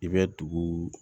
I bɛ dugu